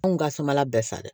Anw ka somala bɛɛ sa dɛ